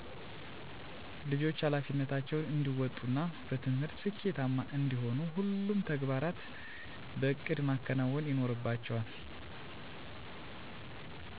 ልጆች ሀላፊነታቸውን እንዲወጡ እና በትምህርት ስኬታማ እንዲሆኑ ሁሉንም ተግባራት በእቅድ ማከናወን ይኖርባቸዋል